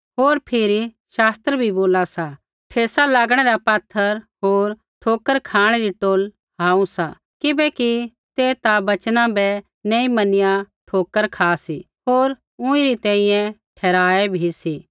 होर फिरी शास्त्र भी बोला सा ठेसा लागणै रा पात्थर होर ठोकर खाँणै री टोहल हुआ सा किबैकि ते ता वचना बै नी मैनिया ठोकर खा सी होर ऊँईरी तैंईंयैं ठहराऐ बी सी